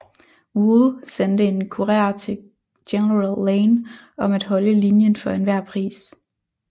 Wool sendte en kurer til General Lane om at holde linjen for enhver pris